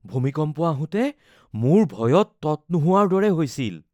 ভূমিকম্প আহোতে মোৰ ভয়ত তত নোহোৱাৰ দৰে হৈছিল